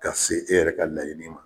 Ka se e yɛrɛ ka laɲini ma